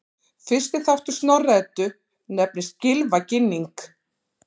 Fyrsti þáttur Snorra-Eddu nefnist Gylfaginning.